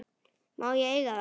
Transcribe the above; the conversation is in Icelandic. Má ég eiga það?